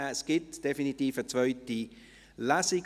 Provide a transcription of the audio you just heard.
Es gibt definitiv eine zweite Lesung;